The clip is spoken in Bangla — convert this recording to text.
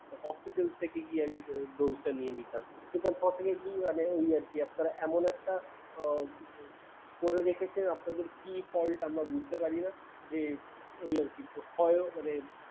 hospital থেকে গিয়ে আমি dose টা নিয়ে নিতাম কিন্তু unfortunately মানে ওই আর কি আপনারা এমন একটা উম করে রেখেছেন, আপনাদের কি fault আমরা বুঝতে পারিনা। যে ওই আর কি হয় মানে